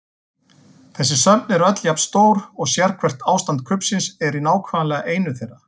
Þessi söfn eru öll jafn stór og sérhvert ástand kubbsins er í nákvæmlega einu þeirra.